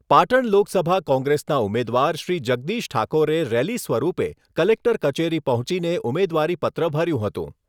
પાટણ લોકસભા કોંગ્રેસના ઉમેદવાર શ્રી જગદીશ ઠાકોરે રેલી સ્વરૂપે કલેક્ટર કચેરી પહોંચીને ઉમેદવારીપત્ર ભર્યું હતું.